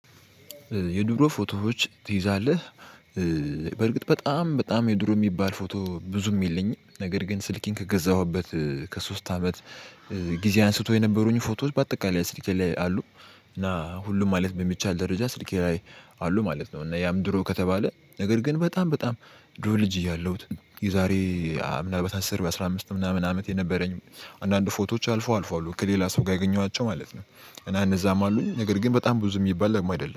የድሮ ፎቶዎች ትይዛለህ? በርግጥ በጣም በጣም የድሮ የሚባል ፎቶ ብዙም የለኝም ነገር ግን ስልኬን ከገዛሁበት ከሶስት አመት ጊዜ አንስቶ የነበሩኝ ፎቶዎች በአጠቃላይ ስልኬ ላይ አሉ እና ሁሉም ማለት በሚቻል ደረጃ ስልኬ ላይ አሉ ማለት ነው። እና ያም ድሮ ከተባለ ነገር ግን በጣም በጣም ድሮ ልጅ እያለሁ የዛሬ ምናምን አስር አስራ አምስት ምናምን አመት የነበረኝ አንዳንድ ፎቶዎች አልፎ አልፎ አሉ ከሌላ ሰው ጋር ያገኘኋቸው ማለት ነው። እና እነዛም አሉኝ ነገር ግን በጣም ብዙ የሚባል አይደለም